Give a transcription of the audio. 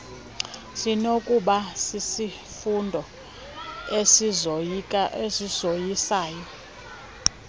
sinokuba sisifundo esizoyisayo